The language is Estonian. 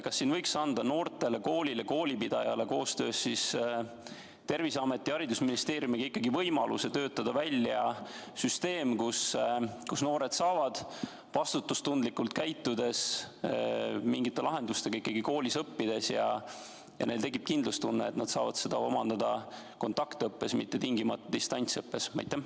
Kas võiks anda noortele, koolile, koolipidajale koostöös Terviseameti ja haridusministeeriumiga ikkagi võimaluse töötada välja süsteem, mille korral noored saavad vastutustundlikult käitudes mingite lahenduste abil siiski koolis õppida ja neil tekib kindlustunne, et nad saavad aineid omandada kontaktõppes, mitte tingimata distantsõppes?